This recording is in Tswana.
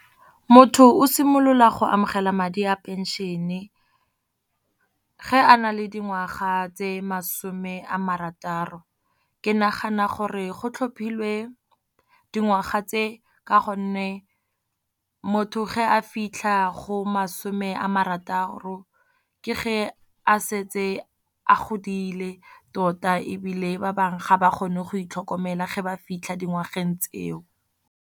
Motho o simolola go amogela madi a pension-e ge a nale dingwaga tse masome a marataro. Ke nagana gore go tlhophile dingwaga tse ka gonne motho ge a fitlha go masome a marataro, ke ge a setse a godile tota ebile ba bangwe ga ba kgone go itlhokomela ge ba fitlha dingwageng tseo.